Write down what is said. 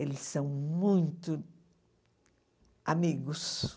Eles são muito amigos.